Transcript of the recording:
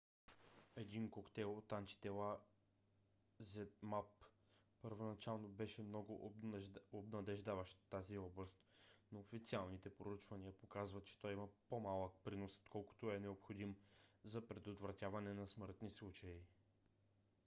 един коктейл от антитела zmapp първоначално беше много обещаващ в тази област но официалните проучвания показват че той има по-малък принос отколкото е необходим за предотвратяване на смъртни случаи